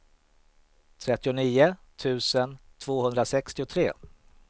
trettionio tusen tvåhundrasextiotre